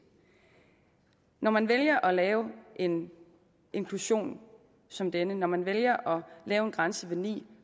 når man vælger at lave en inklusion som denne når man vælger at lave en grænse ved ni